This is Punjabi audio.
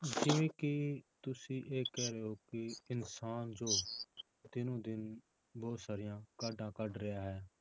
ਜਿਵੇਂ ਕਿ ਤੁਸੀਂ ਇਹ ਕਹਿ ਰਹੇ ਹੋ ਕਿ ਇਨਸਾਨ ਜੋ ਦਿਨੋ ਦਿਨ ਬਹੁਤ ਸਾਰੀਆਂ ਕਾਢਾਂ ਕੱਢ ਰਿਹਾ ਹੈ।